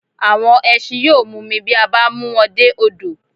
Àwọn ẹsin yóò mumi bí a bá mú wọn dé odò